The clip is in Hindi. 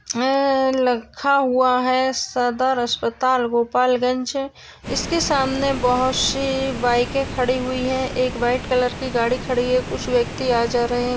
अह रखा हुआ है सदर अस्पताल गोपालगंज इसकी सामने बहुत सी बाइके खड़ी हुई है एक व्हाइट कलर की गाड़ी खड़ी है कुछ व्यक्ति आ जा रहे--